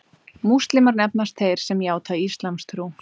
Múslímar nefnast þeir sem játa íslamstrú.